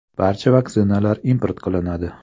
Barcha vaksinalar import qilinadi.